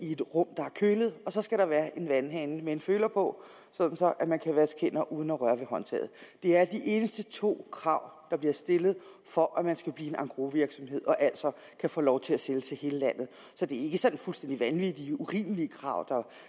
i et rum der er kølet og så skal der være en vandhane med en føler på så man kan vaske hænder uden at røre ved håndtaget det er de eneste to krav der bliver stillet for at man skal blive engrosvirksomhed og altså kan få lov til at sælge til hele landet så det er ikke sådan fuldstændig vanvittige og urimelige krav